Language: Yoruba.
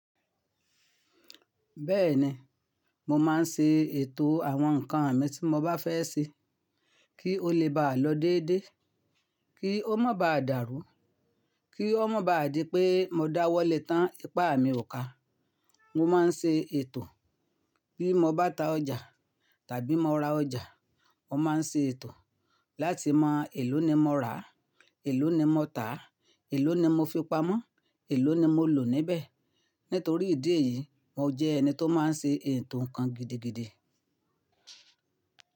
Bẹ́ẹ̀ni, mo máa ń ṣe ètò àwọn nǹkan mi tí mo bá fẹ́ ṣe kí ó lè bá lọ déédé, kí ó má baà dáru, kí ó má baà di pé mo dáwọ́ lé tán, ipá mi ò ká. Mo máa ń ṣe ètò bí mo bá ta ọjà tàbí mo ra ọjà, mo máa ń ṣe ètò láti mọ èló ni mo rà, èló ni mo tà, èló ni mo fi pamọ́, èló ni mo lò níbẹ̀. Nítorí ìdí èyí, mo jẹ́ ẹni tó máa ń ṣe ètò nǹkan gidigidi.